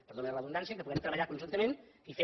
perdoni la redundància puguem treballar conjuntament i fer